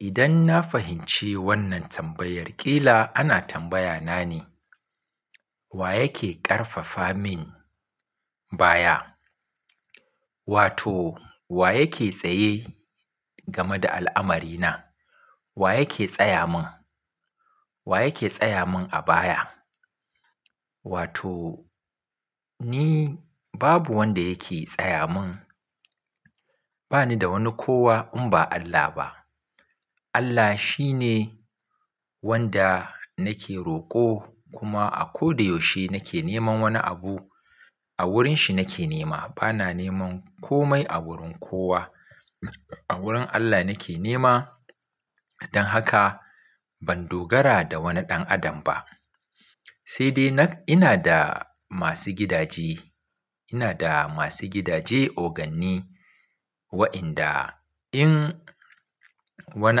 Idan na fahimci wannan tambayar ƙila ana tambaya na ne, wa yake ƙarfafa min baya? Wato wa yake tsaye game da al'amari na? Wa yake tsaya min? Wa yake tsaya min a baya? Wato ni babu wanda yake tsaya min. Ba ni da wani kowa in ba Allah ba. Allah shi ne wanda nake roƙo kuma a ko da yaushe nake neman wani abu a wurin shi nake nema. Bana neman komai a wurin kowa. A wurin Allah nake nema don haka ban dogara da wani ɗan adam ba. Sai dai ina da masu gidaje. Ina da masu gidaje oganni wa'inda in wani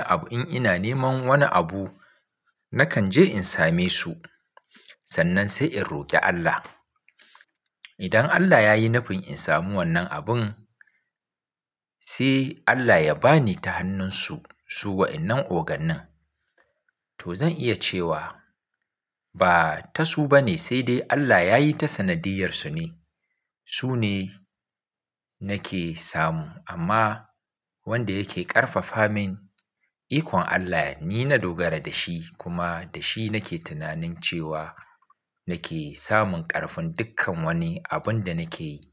abu-- in ina neman wani abu nakan je in same su sannan sai in roƙi Allah. Idan Allah yayi nufin in samu wannan abun sai Allah ya bani ta hannunsu su wa'innan ogannin. To zan iya cewa ba ta su ba ne sai dai Allah yayi ta sanadiyyarsu ne. Su ne nake samu amma wanda yake ƙarfafa min ikon Allah ni na dogara da shi kuma da shi nake tunanin cewa nake samun ƙarfin dukkan wani abun da nake yi.